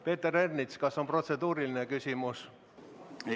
Peeter Ernits, kas on protseduuriline küsimus?